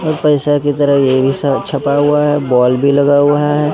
पैसा की तरह ये भी छपा हुआ है बॉल भी लगा हुआ है।